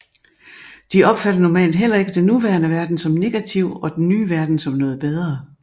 De opfatter normalt heller ikke den nuværende verden som negativ og den nye verden som noget bedre